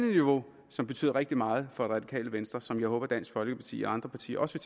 niveau som betyder rigtig meget for radikale venstre og som jeg håber dansk folkeparti og andre partier også